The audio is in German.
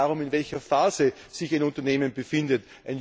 Es geht auch darum, in welcher Phase sich ein Unternehmen befindet.